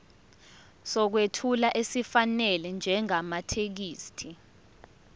sokwethula esifanele njengamathekisthi